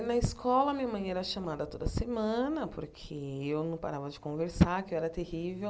Na escola, minha mãe era chamada toda semana, porque eu não parava de conversar, que eu era terrível.